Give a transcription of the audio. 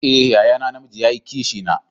Eh, yaya na, na mijii ya yi Kishi na.